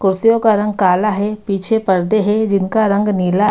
कुर्सियों का रंग काला है। पीछे परदे हैं जिनका रंग नीला--